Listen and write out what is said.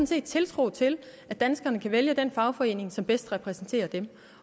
set tiltro til at danskerne kan vælge den fagforening som bedst repræsenterer dem